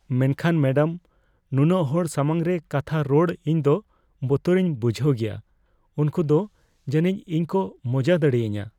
ᱢᱮᱱᱠᱷᱟᱱ ᱢᱮᱰᱟᱢ, ᱱᱩᱱᱟᱹᱜ ᱦᱚᱲ ᱥᱟᱢᱟᱝ ᱨᱮ ᱠᱟᱛᱷᱟ ᱨᱚᱲ ᱤᱧ ᱫᱚ ᱵᱚᱛᱚᱨᱤᱧ ᱵᱩᱡᱷᱦᱟᱹᱣ ᱜᱮᱭᱟ ᱾ ᱩᱝᱠᱩ ᱫᱚ ᱡᱟᱹᱱᱤᱡ ᱤᱧ ᱠᱚ ᱢᱚᱡᱟ ᱫᱟᱲᱮᱭᱟᱹᱧᱟ ᱾